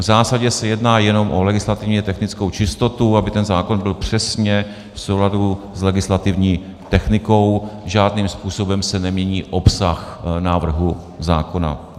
V zásadě se jedná jenom o legislativně technickou čistotu, aby ten zákon byl přesně v souladu s legislativní technikou, žádným způsobem se nemění obsah návrhu zákona.